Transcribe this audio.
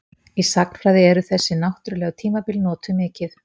Í sagnfræði eru þessi náttúrlegu tímabil notuð mikið.